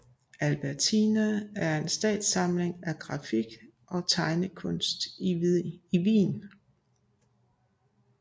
Albertina er en statslig samling af grafik og tegnekunst i Wien